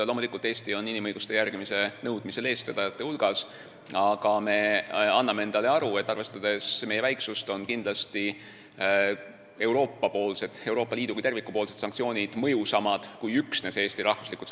Loomulikult on Eesti inimõiguste järgimise nõudmisel eestvedajate hulgas, aga me anname endale aru, et meie väiksuse tõttu on Euroopa Liidu kui terviku sanktsioonid mõjusamad kui üksinda Eesti sammud.